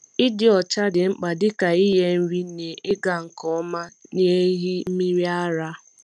Ịdị ọcha dị mkpa dịka inye nri n’ịga nke ọma n’ehi mmiri ara.